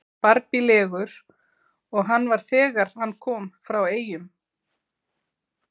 Barbílegur og hann var þegar hann kom frá Eyjum.